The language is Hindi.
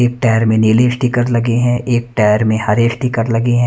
एक टायर मे नीले स्टीकर लगे हैं।